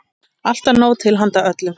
Alltaf nóg til handa öllum.